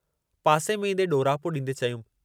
पासे में ईंदे ॾोरापे ॾींदे चयाईं।